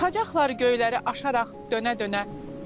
Çıxacaqlar göylərə aşaraq dönə-dönə.